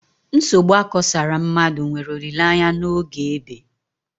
Nsogbu akosara mmadụ nwere olileanya n'oge ébé